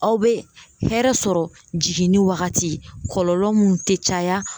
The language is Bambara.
Aw bɛ hɛrɛ sɔrɔ jiginni wagati kɔlɔlɔ mun te caya